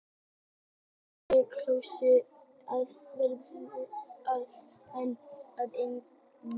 Flestir kjósa að nefna fyrirbærið núvitund en árvekni er einnig algengt.